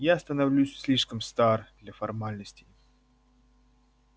я становлюсь слишком стар для формальностей